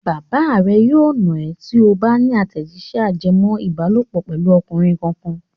Bàbá rẹ yóò nà ẹ́ tí ó tó bá ní àtẹ̀jíṣẹ́ ajẹmọ́-ìbálòpọ̀ pẹ̀lú ọkùnrin kankan.